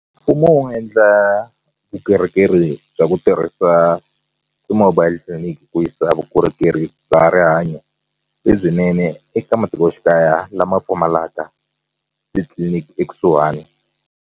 Mfumo wu endla vukorhokeri bya ku tirhisa ti-mobile clinic ku yisa vukorhokeri bya rihanyo lebyinene eka matikoxikaya lama pfumalaka titliliniki ekusuhani.